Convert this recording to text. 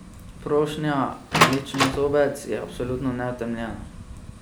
Prošnja, mlečnozobec, je absolutno neutemeljena.